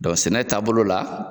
sɛnɛ taa bolo la